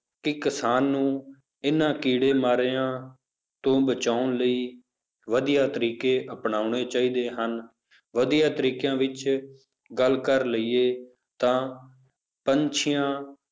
ਕਿ ਕਿਸਾਨ ਨੂੰ ਇਹ ਕੀੜੇ ਮਾਰਿਆਂ ਤੋਂ ਬਚਾਉਣ ਲਈ ਵਧੀਆ ਤਰੀਕੇ ਅਪਨਾਉਣੇ ਚਾਹੀਦੇ ਹਨ, ਵਧੀਆ ਤਰੀਕਿਆਂ ਵਿੱਚ ਗੱਲ ਕਰ ਲਈਏ ਤਾਂ ਪੰਛੀਆਂ